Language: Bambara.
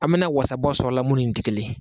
An mina wasa bɔ sɔrɔ la mun ni nin tɛ kelen ye